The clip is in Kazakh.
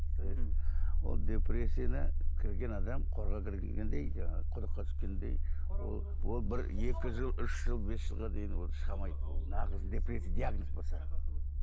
ол депрессияны кірген адам қораға кіргендей жаңағы құдыққа түскендей ол ол бір екі жыл үш жыл бес жылға дейін ол шыға алмайды нағыз депрессия диагноз болса